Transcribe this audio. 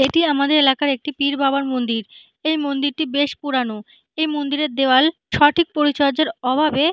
এটি আমাদের এলাকার একটি পীর বাবার মন্দির। এই মন্দিরটি বেশ পুরানো। এই মন্দিরের দেয়াল সঠিক পরিচর্যার অভাবে--